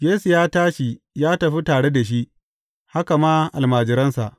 Yesu ya tashi ya tafi tare da shi, haka ma almajiransa.